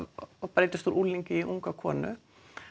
breytast úr unglingi í unga konu